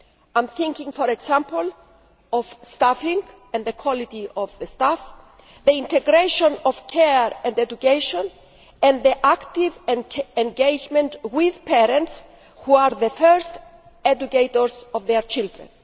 I am thinking, for example, of staffing and staff quality, the integration of care and education, and active engagement with parents, who are the first educators of their children.